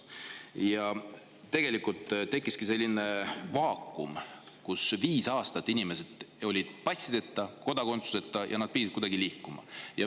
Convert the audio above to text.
Ja tegelikult tekkiski selline vaakum: viis aastat inimesed olid passideta, kodakondsuseta, aga nad pidid ikkagi kuidagi liikuma.